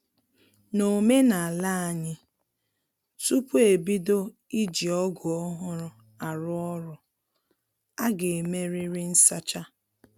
N'omenala anyị, tupu e bido iji ọgụ ọhụrụ arụ ọrụ, a ga-emerịrị nsacha